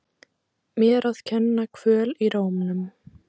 Mér að kenna- Kvöl í rómnum.